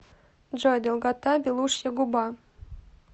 джой долгота белушья губа